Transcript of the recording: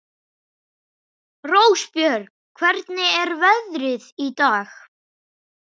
Rósbjörg, hvernig er veðrið í dag?